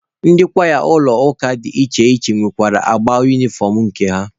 Ndị kwaya ụlọ ụka dị iche iche nwere agba unifọm nke ha.